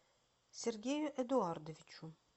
сергею эдуардовичу